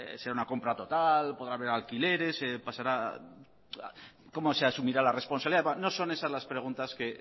si es una compra total podrá haber alquileres cómo se asumirá la responsabilidad etcétera no son esas las preguntas que